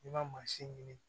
I ma mansin ɲini